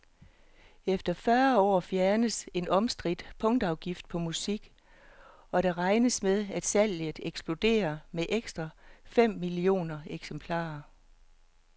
Efter fyrre år fjernes en omstridt punktafgift på musik, og der regnes med, at salget eksploderer med ekstra fem millioner eksemplarer.